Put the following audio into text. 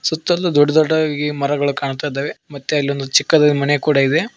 ಸುತ್ತಲೂ ದೊಡ್ಡ ದೊಡ್ಡದಾಗಿ ಮರಗಳು ಕಾಣ್ತಾ ಇದ್ದಾವೆ ಮತ್ತೆ ಅಲ್ಲೊಂದು ಚಿಕ್ಕದಾಗಿ ಮನೆ ಕೂಡ ಇದೆ.